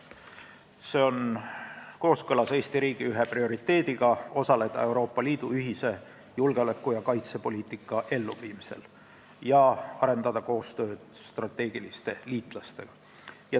See on kooskõlas Eesti riigi ühe prioriteediga osaleda Euroopa Liidu ühise julgeoleku- ja kaitsepoliitika elluviimisel ja arendada koostööd strateegiliste liitlastega.